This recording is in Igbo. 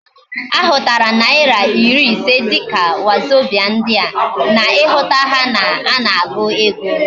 Ahutara naira iri ise dika wazobia ndi a, na ihuta ha na ana agu ego